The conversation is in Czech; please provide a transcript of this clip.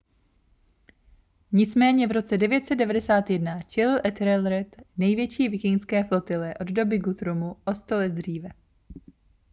nicméně v roce 991 čelil ethelred největší vikingské flotile od doby guthruma o sto let dříve